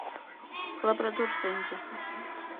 лабрадор сэнди